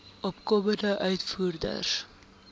opkomende uitvoerders